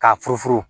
K'a furu furu